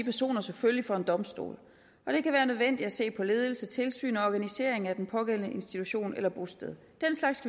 personer selvfølgelig for en domstol og det kan være nødvendigt at se på ledelse tilsyn og organisering af den pågældende institution eller bosted den slags